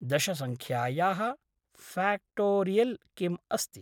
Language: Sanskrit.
दशसङ्ख्यायाः फ़्याक्टोरियल् किम् अस्ति?